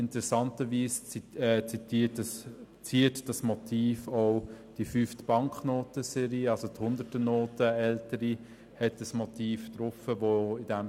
Interessanterweise ziert dieses Motiv auch die ältere Hunderternote.